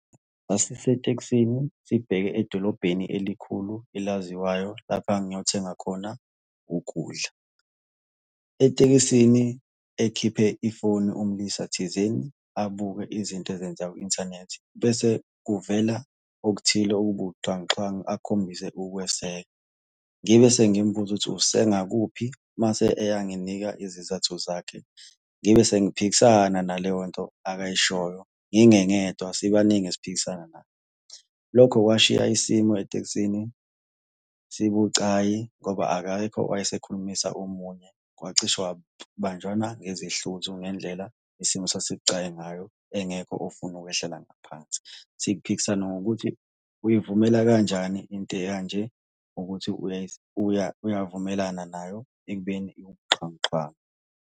Sasisetekisini sibheke edolobheni elikhulu elaziwayo lapha engangiyothenga khona ukudla. Etekisini ekhiphe ifoni umlisa thizeni abuke izinto ezenzeka ku-inthanethi, bese kuvela okuthile okubuxhwanguxhwangu akhombise ukukweseka. Ngibe sengimubuza ukuthi usengakuphi, mase eyanginika izizathu zakhe. Ngibe sengiphikisana naleyo nto akayishoyo, ngingengedwa, sibaningi esiphikisana naye. Lokho kwashiya isimo etekisini sibucayi ngoba akekho owayesekhulumisa omunye. Kwacishe kwabanjwana ngezihluthu ngendlela isimo esasibucayi ngayo, engekho ofuna ukhwehlela ngaphansi. Siphikisana ngokuthi uyivumele kanjani into ekanje ukuthi uyavumelana nayo, ekubeni iyibuxhwanguxhwangu.